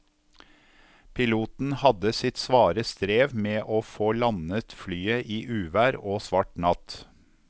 Piloten hadde sitt svare strev med å få landet flyet i uvær og svart natt.